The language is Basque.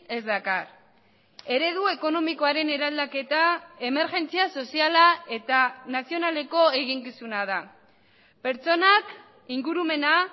ez dakar eredu ekonomikoaren eraldaketa emergentzia soziala eta nazionaleko eginkizuna da pertsonak ingurumena